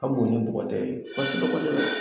A bon ni bɔgɔ tɛ kɔsɛbɛ kɔsɛbɛ.